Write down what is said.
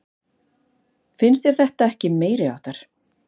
Finnst þér þetta ekki meiriháttar?